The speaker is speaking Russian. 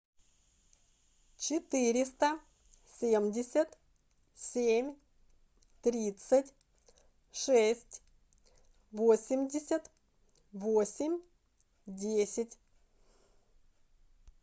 четыреста семьдесят семь тридцать шесть восемьдесят восемь десять